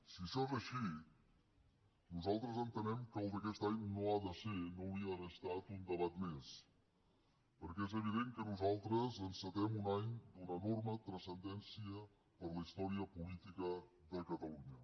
si això és així nosaltres entenem que el d’aquest any no hauria d’haver estat un debat més perquè és evident que nosaltres encetem un any d’una enorme transcendència per a la història política de catalunya